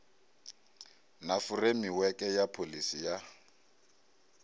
na furemiweke ya pholisi ya